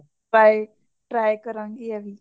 bye try ਕਰਾਂਗੀ ਏਹ ਵੀ